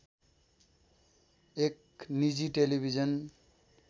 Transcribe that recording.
एक निजी टेलिभिजन